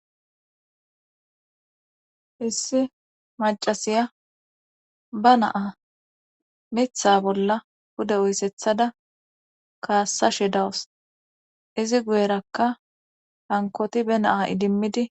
issi macasiya ba naa mitha bolla hude uysethada kaassashe dawus izi guyerakka hankoti be naa idimmidi